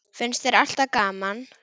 Finnst þér alltaf gaman?